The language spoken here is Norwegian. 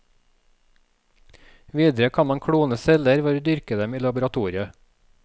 Videre kan man klone celler ved å dyrke dem i laboratoriet.